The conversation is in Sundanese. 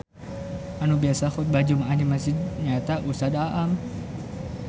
Anu biasa khutbah jumaah di mesjid nyaeta Ustad Aam